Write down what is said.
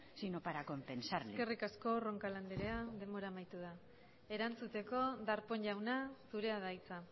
sino para compensarle eskerrik asko roncal anderea denbora amaitu da erantzuteko darpón jauna zurea da hitza